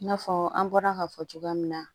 I n'a fɔ an bɔra ka fɔ cogoya min na